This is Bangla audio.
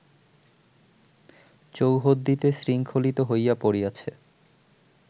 চৌহদ্দিতে শৃঙ্খলিত হইয়া পড়িয়াছে